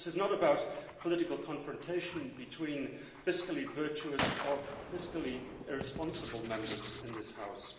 This is not about political confrontation between fiscally virtuous or fiscally irresponsible Members in this House.